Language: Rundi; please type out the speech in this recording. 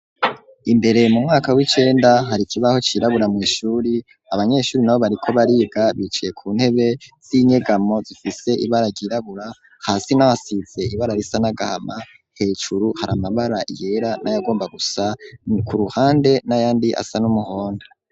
Imbere mu mwaka w'icenda hari ikibaho cirabura mw'ishuri abanyeshuri nabo bariko bariga bicaye ku ntebe z'inyegamo zifise ibara ryirabura hasi naho hasize ibara risa n'agahama hejuru hari amabara yera n'ayagomba gusa ku ruhande n'ayandi asa n'umuhondo.